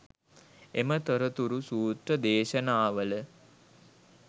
එම තොරතුරු සූත්‍ර දේශනාවල